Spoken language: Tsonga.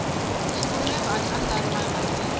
xivumbeko a xi andlariwangi hi